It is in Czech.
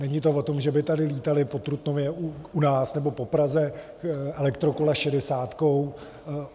Není to o tom, že by tady lítala po Trutnově u nás nebo po Praze elektrokola šedesátkou.